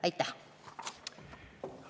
Aitäh!